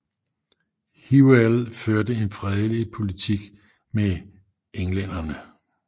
Hywel førte en fredelig politik med englænderne